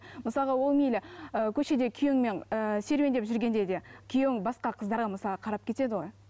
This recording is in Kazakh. мысалға ол мейлі ыыы көшеде күйеуіңмен ііі серуендеп жүргенде де күйеуің басқа қыздарға мысалы қарап кетеді ғой